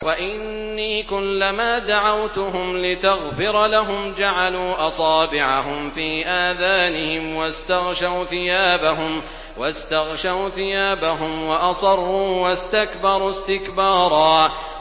وَإِنِّي كُلَّمَا دَعَوْتُهُمْ لِتَغْفِرَ لَهُمْ جَعَلُوا أَصَابِعَهُمْ فِي آذَانِهِمْ وَاسْتَغْشَوْا ثِيَابَهُمْ وَأَصَرُّوا وَاسْتَكْبَرُوا اسْتِكْبَارًا